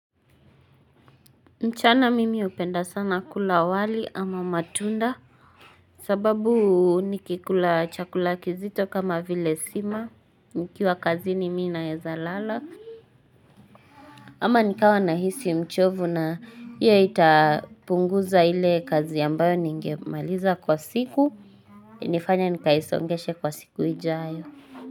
Nchana mimi upenda sana kula wali ama matunda sababu nikikula chakulaki zito kama vile sima nikiwa kazi ni mina yeza lala ama nikawa na hisi mchovu na ya itapunguza ile kazi yambayo ningemaliza kwa siku nifanya nikaisongeshe kwa siku ijayo.